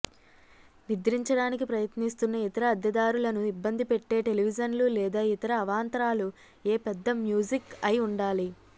నిద్రించడానికి ప్రయత్నిస్తున్న ఇతర అద్దెదారులను ఇబ్బంది పెట్టే టెలివిజన్లు లేదా ఇతర అవాంతరాలు ఏ పెద్ద మ్యూజిక్ అయి ఉండాలి